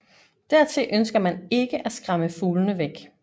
Dertil ønsker man ikke at skræmme fuglene væk